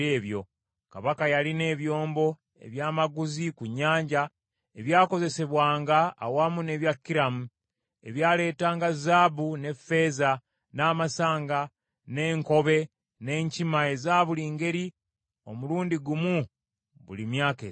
Kabaka yalina ebyombo ebya maguzi ku nnyanja ebyakozesebwanga awamu n’ebya Kiramu, ebyaleetanga zaabu, ne ffeeza, n’amasanga, n’enkobe n’enkima eza buli ngeri omulundi gumu mu buli myaka esatu.